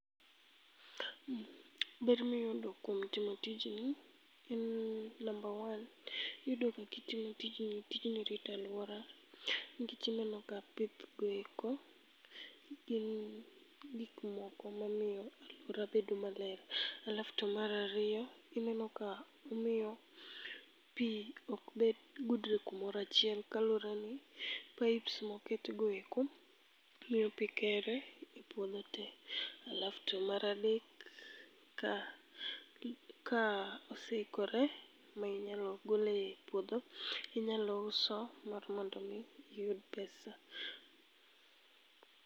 Ber mi iyudo kuom timo tijni ,en ni number one iyudo ga ki itimo tijni. Tijni rito aluara nikech ineno ka pipe go eko ni gi gik moko ma miyo aluaro bedo maler. Alaf to mar ariyo, ineno ka omiyo pi ok bed budre ka moro achiel kaluwore ni pipes go oket go eko miyo pi kere e puodho tee alaf to mar adek ka kaose ikore ma inyalo gole e puodhe inyalo uso mar mondo mi iyud pesa.